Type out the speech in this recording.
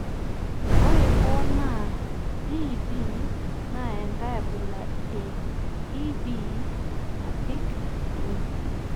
ore hoo, naa DEB naa enkae abila e EB nabik oleng"